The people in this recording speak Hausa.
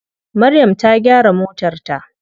Maryam ta gyara motar ta.